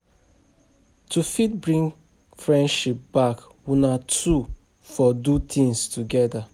To fit bring friendship back una two for do things together